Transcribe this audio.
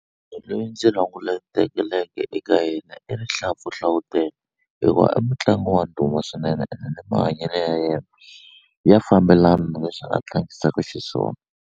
Lweyi ndzi eka yena i Rihlampfu Hlawutele hikuva i mutlangi wa ndhuma swinene ene ni mahanyelo ya yena ya fambelana na leswi a tlangisaku xiswona.